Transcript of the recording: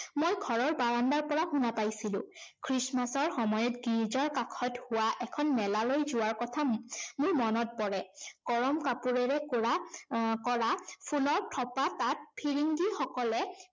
মই ঘৰৰ বাৰাণ্ডাৰ পৰা শুনা পাইছিলো। খ্ৰীষ্টমাছৰ সময়ত গীৰ্জাৰ কাষত হোৱা এখন মেলালৈ যোৱাৰ কথা মোৰ মনত পৰে। গৰম কাপোৰেৰে কৰা আহ কৰা ফুলৰ থোপা তাত ফিৰিঙ্গিসকলে